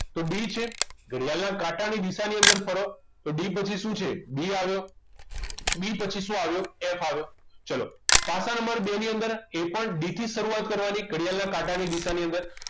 તો D છે ઘડિયાળના કાંટાની દિશા ની અંદર ફરો તો D પછી શું છે b આવ્યો B પછી શું આવ્યો F આવ્યો ચલો પાસા નંબર બે ની અંદર એ પણ D થી શરૂઆત કરવાની ઘડિયાળના કાંટાની દિશાની અંદર